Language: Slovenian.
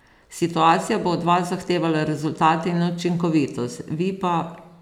Situacija bo od vas zahtevala rezultate in učinkovitost, vi pa ...